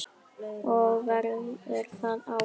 Og verður það áfram.